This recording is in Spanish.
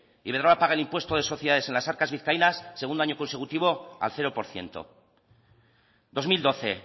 iberdrola paga el impuesto de sociedades en las arcas vizcaínas segundo año consecutivo al cero por ciento dos mil doce